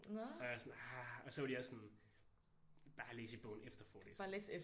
Og jeg er sådan ah og så var de også sådan bare læs i bogen efter forelæsningen